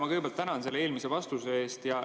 Ma kõigepealt tänan eelmise vastuse eest.